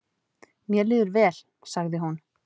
"""Mér líður vel, sagði hún."""